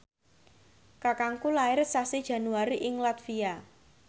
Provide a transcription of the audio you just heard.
kakangku lair sasi Januari ing latvia